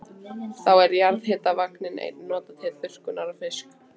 Þá er jarðhitavatn einnig notað til þurrkunar á fiski.